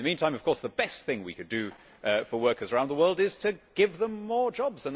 In the meantime, of course, the best thing we could do for workers around the world is to give them more jobs.